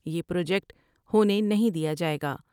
یہ پروجیکٹ ہونے نہیں دیا جاۓ گا۔